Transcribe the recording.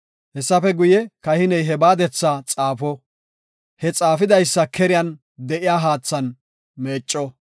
“Haysafe guye, kahiney he baadetha xaafo; he xaafidaysa keriyan de7iya haathan meecco.